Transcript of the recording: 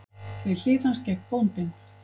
Við hlið hans gekk bóndinn.